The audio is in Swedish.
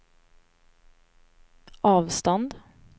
avstånd